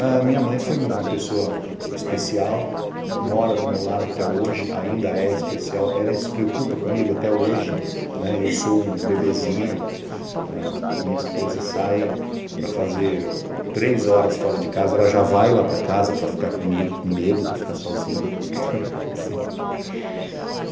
A minha mãe foi uma pessoa especial, mora do meu lado até hoje, ainda é especial, ela se preocupa comigo até hoje, né, eu sou um bebezinho, minha esposa sai para fazer três horas fora de casa, ela já vai lá para casa para ficar comigo, com medo de eu ficar sozinho.